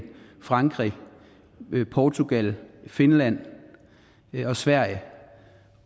frankrig portugal finland og sverige